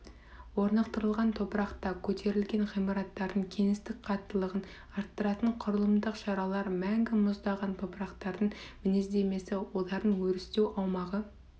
орнықтылған топырақта көтерілген ғимараттардың кеңістік қаттылығын арттыратын құрылымдық шаралар мәңгі мұздаған топырақтардың мінездемесі олардың өрістеу аумағы